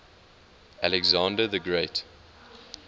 alexander the great